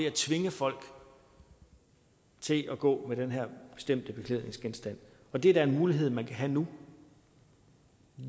at tvinge folk til at gå med den her bestemte beklædningsgenstand det er da en mulighed man har nu